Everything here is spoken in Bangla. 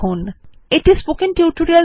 httpspoken tutorialorgWhat is a spoken tutorial